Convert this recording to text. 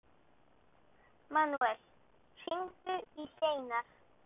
Manuel, hringdu í Hleinar.